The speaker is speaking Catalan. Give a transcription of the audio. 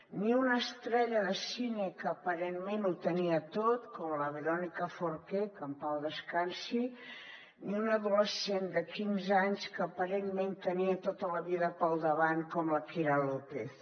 ni una estrella de cine que aparentment ho tenia tot com la veronica forqué que en pau descansi ni una adolescent de quinze anys que aparentment tenia tota la vida pel davant com la kira lópez